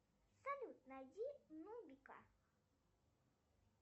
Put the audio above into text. салют найди нубика